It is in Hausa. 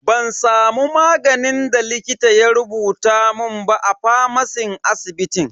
Ban samu maganin da likita ya rubuta mun ba a famacin asibitin.